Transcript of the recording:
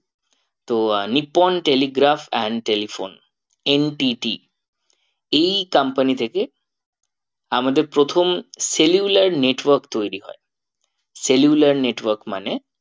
Nippon telegraph and telephone NTT এই company থেকে আমাদের প্রথম cellular network তৈরী হয়। cellular network মানে